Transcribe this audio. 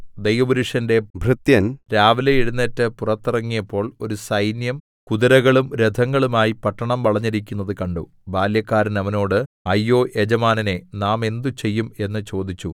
ദൈവപുരുഷന്റെ ഭൃത്യൻ രാവിലെ എഴുന്നേറ്റ് പുറത്തിറങ്ങിയപ്പോൾ ഒരു സൈന്യം കുതിരകളും രഥങ്ങളുമായി പട്ടണം വളഞ്ഞിരിക്കുന്നത് കണ്ടു ബാല്യക്കാരൻ അവനോട് അയ്യോ യജമാനനേ നാം എന്ത് ചെയ്യും എന്ന് ചോദിച്ചു